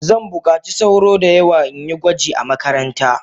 Zanbukaci sauro da yawa inyi gwaji a makaranta.